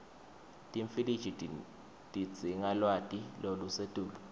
timfiliji tidzinga lwati lolusetulu